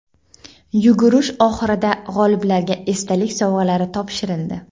Yugurish oxirida g‘oliblarga esdalik sovg‘alari topshirildi.